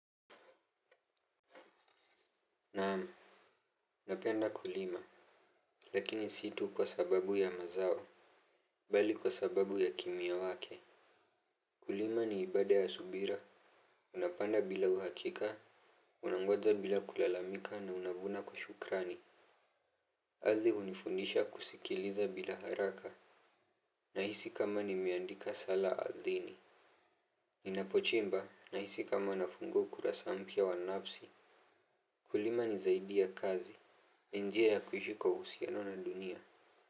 Naam, napenda kulima, lakini si tu kwa sababu ya mazao bali kwa sababu ya kimya wake. Kulima ni ibada ya subira, unapanda bila uhakika, unangoja bila kulalamika na unavuna kwa shukrani. Kazi hunifundisha kusikiliza bila haraka, nahisi kama nimeandika sala ardhini. Ninapochimba, nahisi kama nafungua ukurasa mpya wa nafsi. Kulima ni zaidi ya kazi, ni njia ya kuishi kwa uhusiano na dunia.